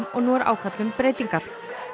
og nú er ákall um breytingar